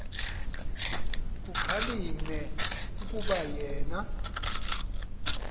kukhalinywe kukuba yena